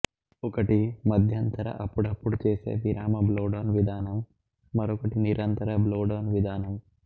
ఒకటి మధ్యంతర అప్పుడప్పుడు చేసే విరామ బ్లోడౌన్ విధానం మరొకటి నిరంతం బ్లోడౌన్ విధానం